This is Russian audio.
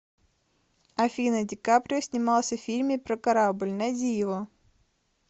афина де каприо снимался в фильме про корабль найди его